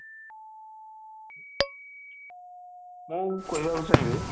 ମୁଁ କହିବାକୁ ଚାହିଁବି